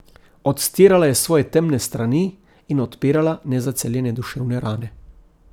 Odstirala je svoje temne strani in odpirala nezaceljene duševne rane.